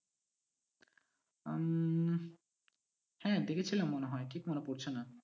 উম হ্যাঁ দেখেছিলাম মনে হয় ঠিক মনে পড়ছে না কি।